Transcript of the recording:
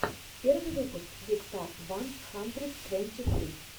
первый выпуск викстар ван хандрид твенти фри